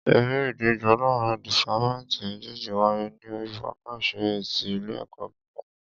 Eré ìdíje láàrín dìpátmẹ́tì méjèjì wáyé ní orí pápá ìṣeré ti ilé ẹ̀kọ́ gíga.